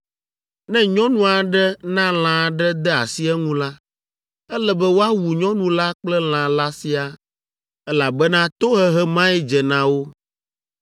“ ‘Ne nyɔnu aɖe na lã aɖe de asi eŋu la, ele be woawu nyɔnu la kple lã la siaa, elabena tohehe mae dze na wo.